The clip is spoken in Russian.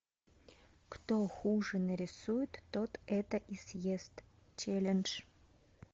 кто хуже нарисует тот это и съест челлендж